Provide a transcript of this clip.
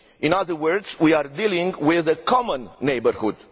In other words, we are dealing with a common neighbourhood.